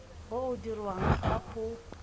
o o dirwang ga o